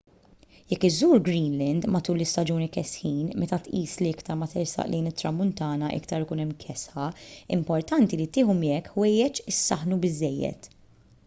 jekk iżżur greenland matul l-istaġuni kesħin meta tqis li iktar ma tersaq lejn it-tramuntana iktar ikun hemm kesħa importanti li tieħu miegħek ħwejjeġ isaħħnu biżżejjed